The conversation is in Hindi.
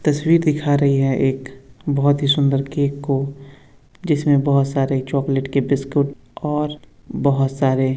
तस्वीर दिखा रही है एक बोहोत ही सुंदर केक को जिसमे बोहोत सारे चॉकलेट के बिस्कुट और बोहोत सारे --